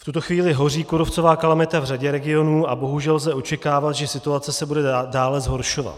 V tuto chvíli hoří kůrovcová kalamita v řadě regionů a bohužel lze očekávat, že situace se bude dále zhoršovat.